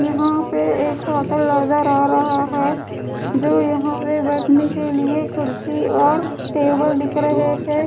यहां पे एक होटल अलग रह रहा है जो यहां पे बैठने के लिएकुर्सी और टेबल दिख रहे हैं।